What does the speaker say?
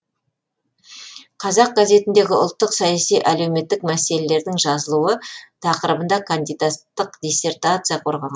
қазақ газетіндегі ұлттық саяси әлеуметтік мәселелердің жазылуы тақырыбында кандидаттық диссертация қорғаған